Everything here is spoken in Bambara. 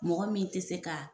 Mɔgɔ min tɛ se ka